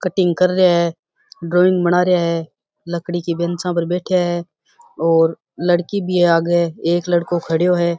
Cutting कर रहे है ड्राइंग बना रहे है लकड़ी के बेंचा पर बैठा है और लड़की भी आगे एक लड़को खड़े है।